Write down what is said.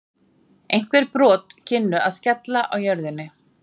Einhver brot kynnu að skella á jörðinni.